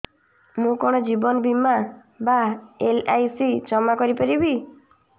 ମୁ କଣ ଜୀବନ ବୀମା ବା ଏଲ୍.ଆଇ.ସି ଜମା କରି ପାରିବି